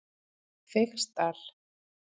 Feigsdal